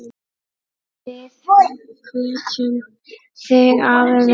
Við kveðjum þig, afi minn.